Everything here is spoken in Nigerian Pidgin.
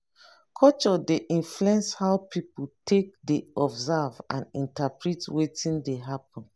culture dey influence how pipo take dey observe and interprete wetin dey happen